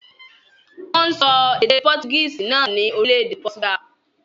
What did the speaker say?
Wọ́n ń sọ èdè Portuguese náà ní orílẹ̀-èdè Portugal.